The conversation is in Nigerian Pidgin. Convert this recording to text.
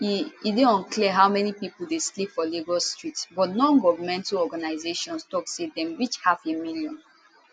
e e dey unclear how many pipo dey sleep for lagos streets but nongovernmental organisations tok say dem reach halfamillion